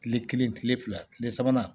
Kile kelen kile fila kile sabanan